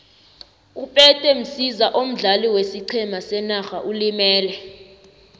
upete msiza omdlali wesiqhema senarha ulimele